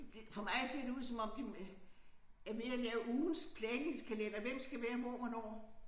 Det for mig ser det ud som om de øh er ved at lave ugens planlægningskalender hvem skal være hvor hvornår